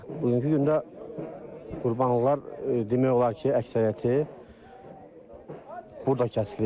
Bugünkü gündə qurbanlıqlar demək olar ki, əksəriyyəti burda kəsilir.